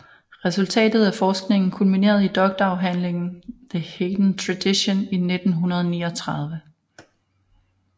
Resultatet af forskningen kulminerede i doktorafhandlingen The Haydn Tradition i 1939